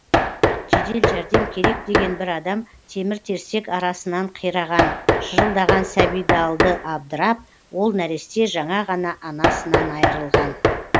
жедел жәрдем керек деген бір адам темір терсек арасынан қираған шырылдаған сәбиді алды абдырап ол нәресте жаңа ғана анасынан айрылған